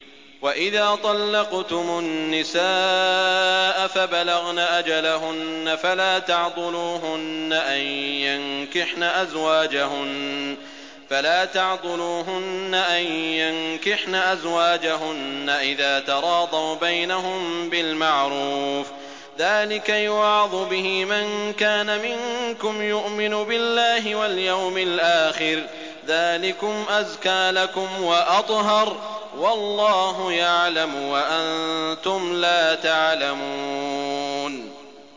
وَإِذَا طَلَّقْتُمُ النِّسَاءَ فَبَلَغْنَ أَجَلَهُنَّ فَلَا تَعْضُلُوهُنَّ أَن يَنكِحْنَ أَزْوَاجَهُنَّ إِذَا تَرَاضَوْا بَيْنَهُم بِالْمَعْرُوفِ ۗ ذَٰلِكَ يُوعَظُ بِهِ مَن كَانَ مِنكُمْ يُؤْمِنُ بِاللَّهِ وَالْيَوْمِ الْآخِرِ ۗ ذَٰلِكُمْ أَزْكَىٰ لَكُمْ وَأَطْهَرُ ۗ وَاللَّهُ يَعْلَمُ وَأَنتُمْ لَا تَعْلَمُونَ